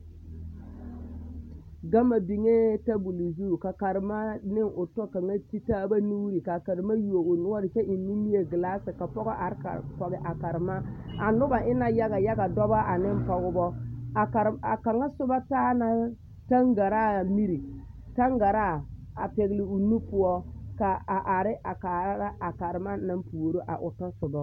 Gama biŋɛɛ tabol zu ka karema ne o tɔ kaŋa ka ba ti taaba nuuri kaa karema yuo o noɔre kyɛ eŋ nimie gilaasi ka pɔgɔ are kɔge a karema a nobɔ e la yaga yaga dɔbɔ aneŋ pɔgbɔ a karema a kaŋa sobɔ taa la taŋgaraa miri taŋgaraa a pɛgli o nu poɔ a are a kaara a karema naŋ puoro a o tasobɔ.